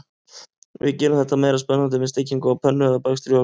Við gerum þetta meira spennandi með steikingu á pönnu eða bakstri í ofni.